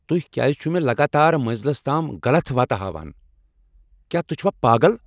تُہۍ کیٛاز چھو مےٚ لگاتار منزلس تام غلط وتہ ہاوان۔ کیٛاہ تُہۍ چُھوا پاگل؟